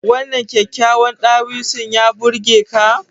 Wannan kyakkyawan dawisun ya burge ka?